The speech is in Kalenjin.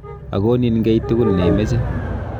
Akonin kei tugul neimeche.